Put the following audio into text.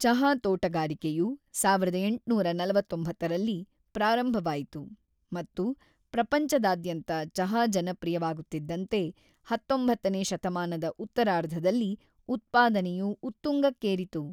ಚಹಾ ತೋಟಗಾರಿಕೆಯು ಸಾವಿರದ ಎಂಟುನೂರ ನಲವತ್ತೊಂಬತ್ತರಲ್ಲಿ ಪ್ರಾರಂಭವಾಯಿತು ಮತ್ತು ಪ್ರಪಂಚದಾದ್ಯಂತ ಚಹಾ ಜನಪ್ರಿಯವಾಗುತ್ತಿದಂತೆ ಹತ್ತೊಂಬತ್ತನೇ ಶತಮಾನದ ಉತ್ತರಾರ್ಧದಲ್ಲಿ ಉತ್ಪಾದನೆಯು ಉತ್ತುಂಗಕ್ಕೇರಿತು.